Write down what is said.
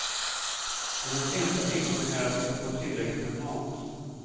Hennes enda ängslan är att inte få tillräckligt med mat.